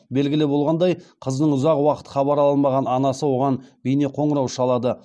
белгілі болғандай қызынан ұзақ уақыт хабар ала алмаған анасы оған бейнеқоңырау шалады